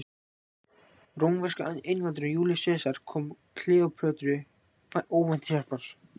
Rómverski einvaldurinn Júlíus Sesar kom Kleópötru óvænt til hjálpar.